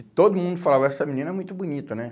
E todo mundo falava, essa menina é muito bonita, né?